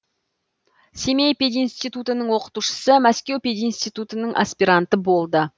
семей пединститутының оқытушысы мәскеу пединститутының аспиранты болды